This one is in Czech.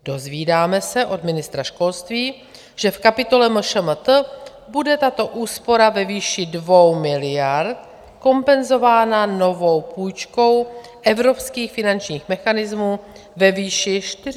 Dozvídáme se od ministra školství, že v kapitole MŠMT bude tato úspora ve výši 2 miliard kompenzována novou půjčkou evropských finančních mechanismů ve výši 45 miliard.